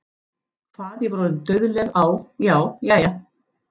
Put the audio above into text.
Hvað ég var orðin dauðleið á- já, jæja.